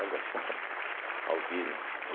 Olha só, né Albino.